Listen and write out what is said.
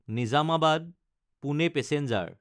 নিজামাবাদ–পুনে passenger